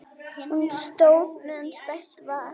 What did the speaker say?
Hún stóð meðan stætt var.